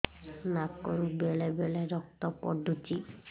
ନାକରୁ ବେଳେ ବେଳେ ରକ୍ତ ପଡୁଛି